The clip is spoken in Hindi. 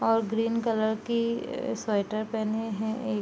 और ग्रीन कलर की स्वेटर पेहेने है एक।